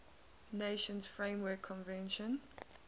nations framework convention